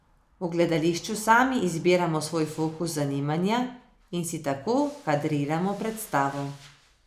V gledališču sami izbiramo svoj fokus zanimanja in si tako kadriramo predstavo.